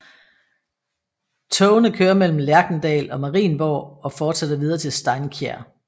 Togene kører mellem Lerkendal og Marienborg og fortsætter videre til Steinkjer